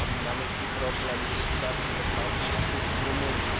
Mam na myśli problem likwidacji bezpańskich psów w Rumunii.